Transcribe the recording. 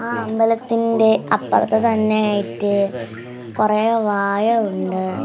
ആ അമ്പലത്തിൻ്റെ അപ്പർത് തന്നെ ആയിറ്റ് കൊറേ വായ ഉണ്ട്.